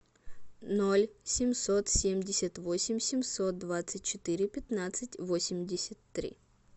ноль семьсот семьдесят восемь семьсот двадцать четыре пятнадцать восемьдесят три